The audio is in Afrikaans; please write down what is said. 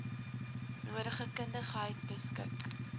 nodige kundigheid beskik